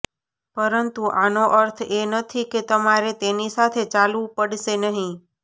પરંતુ આનો અર્થ એ નથી કે તમારે તેની સાથે ચાલવું પડશે નહીં